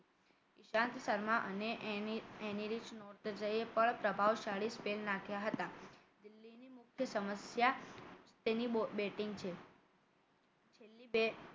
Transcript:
ઈશાંત શર્મા અને Anrich Nortje છે એ પણ પ્રભાવશાળી spin નાખ્યા હતા દિલ્હીની મુખ્ય સમસ્યા તેની batting છે દિલ્લી